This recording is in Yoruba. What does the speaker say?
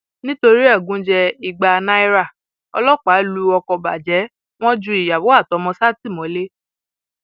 nítorí ẹgúnjẹ ìgbà náírà ọlọpàá lu ọkọ bàjẹ wọn ju ìyàwó àtọmọ sátìmọlé